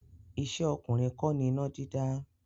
Iṣẹ́ ọkùnrin kọ́ ni iná dídá.